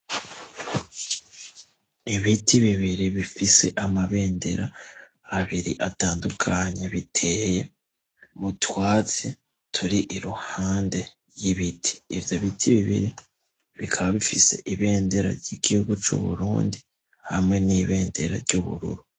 Ibiti bibiri bifise amabendera abiri atandukanye biteye mu twatsi turi iruhande y'ibiti ivyo biti bibiri bikaba bifise ibendera ry'igihugu c'Uburundi hamwe n'ibendera ry'ubururu.